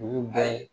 Ninnu bɛɛ ye